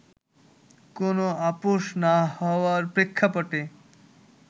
কোন আপস না হওয়ার প্রেক্ষাপটে